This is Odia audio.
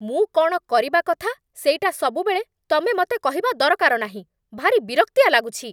ମୁଁ କ'ଣ କରିବା କଥା ସେଇଟା ସବୁବେଳେ ତମେ ମତେ କହିବା ଦରକାର ନାହିଁ । ଭାରି ବିରକ୍ତିଆ ଲାଗୁଛି ।